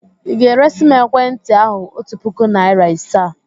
Ị ga-eresi m ekwentị ahụ otu puku naịra asaa?